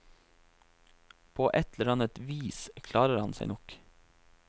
På et eller annet vis klarer han seg nok.